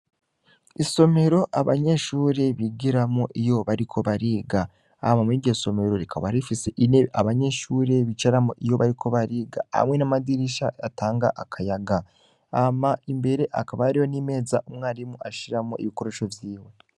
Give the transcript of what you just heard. Isomero abanyeshuri bigiramwo iyo bariko bariga, hama muriryo somero rikaba rifise intebe abanyeshure bicaramwo iyo bariko bariga hamwe n'amadirisha atanga akayaga hama imbere hakaba hariho n’imeza umwarimu ashiramwo ibikoresho vyiwe.